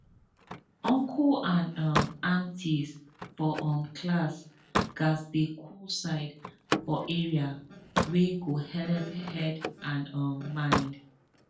uncle and um auntie for um class gatz get cool side for area wey go helep head and um mind